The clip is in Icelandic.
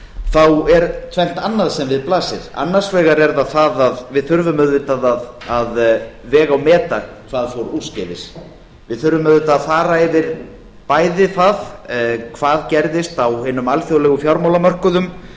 þá er sem sagt annað sem við blasir annars vegar er það það að við þurfum auðvitað að vega og meta hvað fór úrskeiðis við þurfum auðvitað að fara yfir bæði það hvað gerðist á hinum alþjóðlegu fjármálamörkuðum